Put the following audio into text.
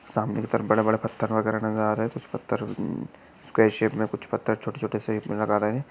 सामने की तरफ बड़े बड़े पत्थर बगेरा नजर आ रहे है। उस पत्थर स्क्वायर शेप मे पत्थर छोटे छोटे शे नजर आ रहे है।